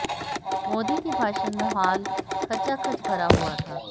मोदी के भाषण में हॉल खचाखच भरा हुआ था